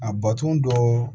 A baton dɔ